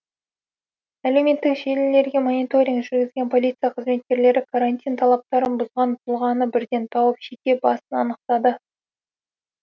әлеуметтік желілерге мониторинг жүргізген полиция қызметкерлері карантин талаптарын бұзған тұлғаны бірден тауып жеке басын анықтады